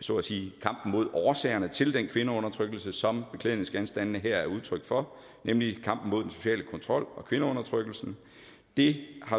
så at sige kampen mod årsagerne til den kvindeundertrykkelse som beklædningsgenstandene her er udtryk for nemlig kampen mod den sociale kontrol og kvindeundertrykkelsen det har